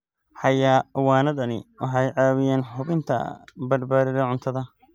Xayawaanadani waxay caawiyaan hubinta badbaadada cuntada.